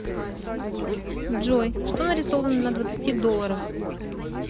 джой что нарисовано на двадцати долларах